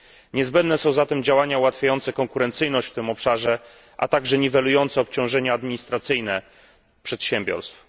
Niezbędne są zatem działania ułatwiające konkurencyjność w tym obszarze, a także niwelujące obciążenia administracyjne przedsiębiorstw.